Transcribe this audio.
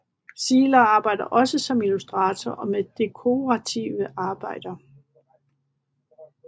Zieler arbejder også som illustratorer og med dekorative arbejder